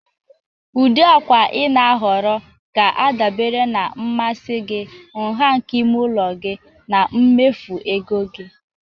Ụdị akwa ị na-ahọrọ ga-adabere na mmasị gị, nha nke ime ụlọ gị, na mmefu ego gị.